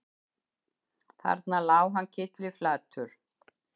Þarna lá hann kylliflatur